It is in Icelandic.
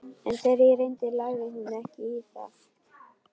En þegar á reyndi lagði hún ekki í það.